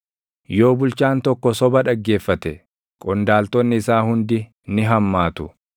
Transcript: Yoo bulchaan tokko soba dhaggeeffate, qondaaltonni isaa hundi ni hammaatu.